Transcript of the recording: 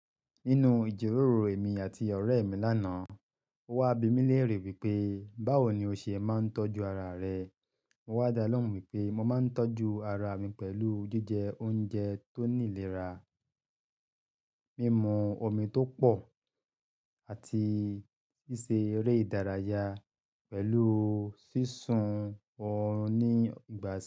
Nínú ìjíròrò èmi àti ọ̀rẹ́ mi lá'nàá, ó wá bi mí léèrè wípé"Báwo ni o ṣe máa ń tọ́jú ara rẹ?" Mo wá dá ọ́ lọ́mù wípé mo máa ń tọ́jú ara mi pẹ̀lú jíjẹ oúnjẹ tó ní ìlera, mímu omi tó pọ̀ àti ṣíṣe eré ìdárayá pẹ̀lú sísun ọrùn ní ìgbà sí ìgbà.